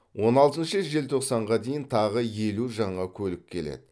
он алтыншы желтоқсанға дейін тағы елу жаңа көлік келеді